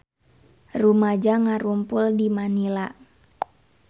Rumaja ngarumpul di Manila